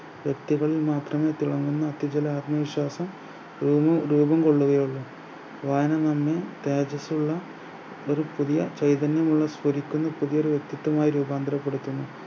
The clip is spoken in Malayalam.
വ്യക്തികളിൽ മാത്രമെ തിളങ്ങുന്ന മറ്റു ചില ആത്മവിശ്വാസം രൂപം രൂപം കൊള്ളുകയുള്ളു വായന നന്ദി തേജസ്സുള്ള ഒരു പുതിയ ചൈതന്യമുള്ള സ്വരിക്കുന്ന പുതിയ ഒരു വ്യക്തിത്വമായി രൂപാന്തരപ്പെടുത്തുന്നു